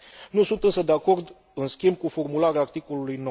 Nu sunt însă de acord, în schimb, cu formularea articolului